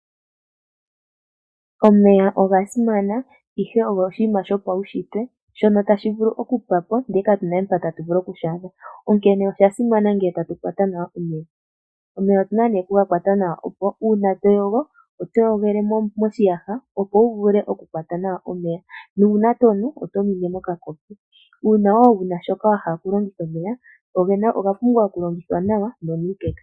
Omeya oga simana ihe oshinima shopaunshitwe shono tashi vulu oku pwapo ndele ka tu na we pa tatu vulu oku shi a dha onkene osha simana ngele tatu kwata nawa omeya. Omeya otu na oku ga kwata nawa nee uuna ngele toyogo, oto yogele moshiyaha opo wu vulu oku kwata nawa omeya nuuna to nu oto nunwe mokakopi. Uuna woo wuna shoka wahala okulongitha omeya owa oga pumbwa oku longithwa nawa no nuukeka.